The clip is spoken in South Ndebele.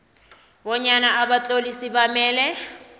bonyana abatlolisi bamele